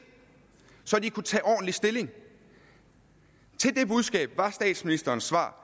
så de kunne tage ordentlig stilling til det budskab var statsministerens svar